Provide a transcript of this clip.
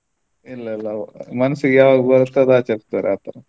ಇಲ್ಲ ಇಲ್ಲ ಮನಸ್ಸಿಗೆ ಯಾವಾಗ ಬರುತ್ತೆ ಆಚರಿಸ್ತಾರೆ ಆತರ.